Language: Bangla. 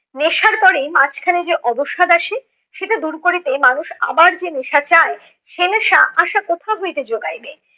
নেশার পরে মাঝখানে যে অবসাদ আসে সেটা দূর করিতে মানুষ আবার যে নেশা চায় সে নেশা আশা কোথা হইতে জোগাইবে?